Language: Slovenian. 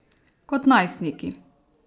Kot najstniki.